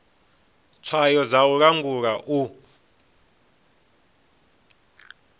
tswayo dza u langula u